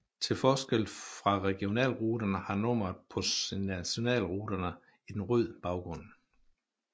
Til forskel fra regionalruterne har nummeret på nationalruterne en rød baggrund